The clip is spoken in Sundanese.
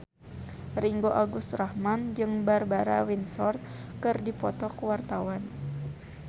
Ringgo Agus Rahman jeung Barbara Windsor keur dipoto ku wartawan